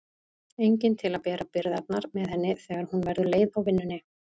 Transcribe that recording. Enginn til að bera byrðarnar með henni þegar hún verður leið á vinnunni.